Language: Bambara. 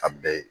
A bɛɛ ye